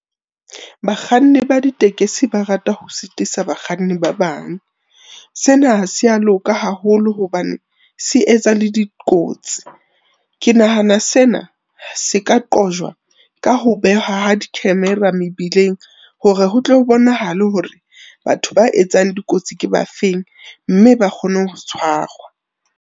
Bakganni ba ditekesi ba rata ho sitisa bakganni ba bang. Sena ha sea loka haholo hobane se etsa le dikotsi. Ke nahana sena, se ka qojwa ka ho behwa ha di-camera mebileng hore ho tlo bonahale hore batho ba etsang dikotsi ke ba feng, mme ba kgone ho tshwarwa.